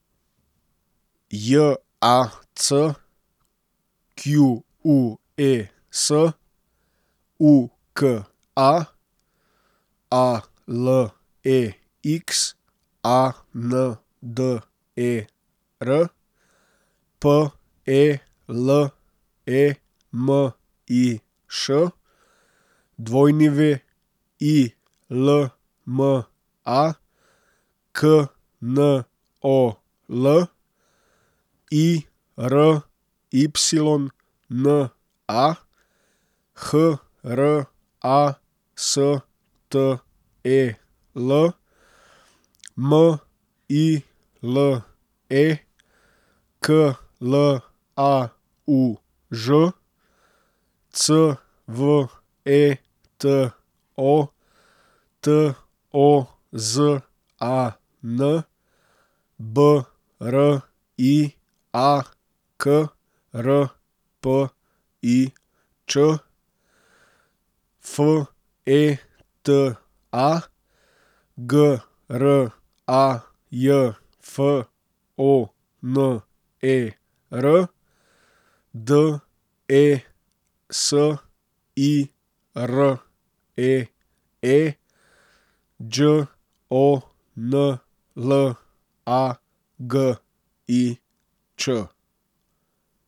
J A C Q U E S, U K A; A L E X A N D E R, P E L E M I Š; W I L M A, K N O L; I R Y N A, H R A S T E L; M I L E, K L A U Ž; C V E T O, T O Z A N; B R I A, K R P I Č; F E T A, G R A J F O N E R; D E S I R E E, Đ O N L A G I Ć.